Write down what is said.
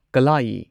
ꯀꯜꯂꯥꯌꯤ